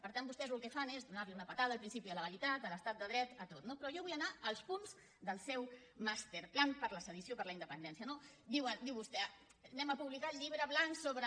per tant vostès el que fan és donar una patada al principi de legalitat a l’estat de dret a tot no però jo vull anar als punts del seu master plan per la sedició per la independència no diu vostè anem a publicar el llibre blanc sobre